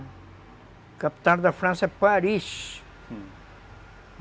O capital da França é Paris.